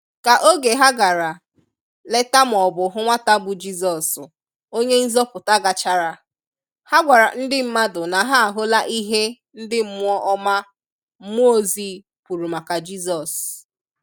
Ka oge ha gara leta ma ọbụ hụ nwata bụ Jizọs Onye nzọpụta gachara, ha gwara ndị mmadụ na ha ahụla ihe ndị mmụọ ọma/mmụọ ozi kwuru maka Jizọs.